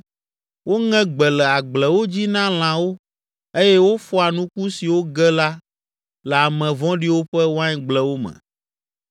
Woŋe gbe le agblewo dzi na lãwo eye wofɔa nuku siwo ge la le ame vɔ̃ɖiwo ƒe waingblewo me.